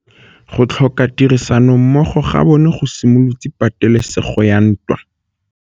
Go tlhoka tirsanommogo ga bone go simolotse patêlêsêgô ya ntwa.